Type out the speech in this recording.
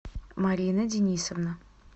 марина денисовна